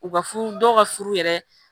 U ka furu dɔw ka furu yɛrɛ